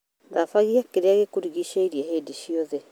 Thabagia kĩrĩa gĩkũrigicĩrie hĩndĩ ciothe